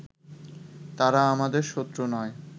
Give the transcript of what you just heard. তারা আমাদের শত্রু নয়